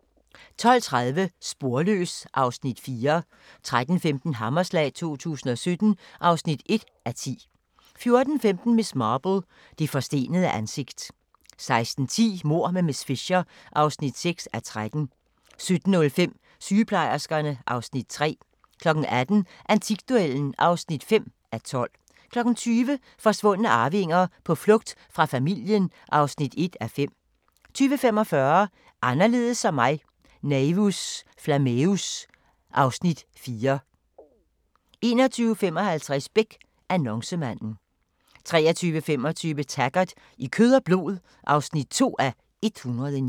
12:30: Sporløs (Afs. 4) 13:15: Hammerslag 2017 (1:10) 14:15: Miss Marple: Det forstenede ansigt 16:10: Mord med miss Fisher (6:13) 17:05: Sygeplejerskerne (Afs. 3) 18:00: Antikduellen (5:12) 20:00: Forsvundne arvinger: På flugt fra familien (1:5) 20:45: Anderledes som mig – Naevus Flammeus (Afs. 4) 21:55: Beck: Annoncemanden 23:25: Taggart: I kød og blod (2:109)